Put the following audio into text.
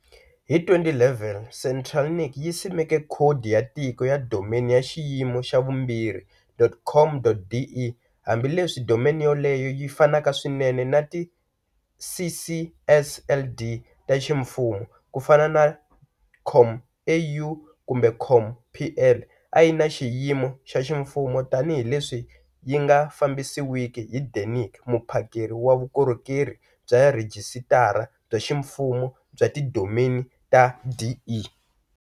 Hi 2011, CentralNic yi simeke khodi ya tiko ya domain ya xiyimo xa vumbirhi.COM.DE. Hambi leswi domain yoleyo yi fanaka swinene na ti ccSLD ta ximfumo, ku fana na COM.AU kumbe COM.PL, a yi na xiyimo xa ximfumo tanihileswi yi nga fambisiwiki hi Denic, muphakeri wa vukorhokeri bya rhijisitara bya ximfumo bya tidomeni ta.DE.